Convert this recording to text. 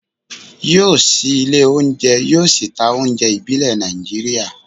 yóò ṣí ilé oúnjẹ, yóò sì ta oúnjẹ ìbílẹ̀ Nàìjíríà